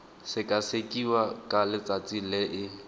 sekasekiwa ka letsatsi le e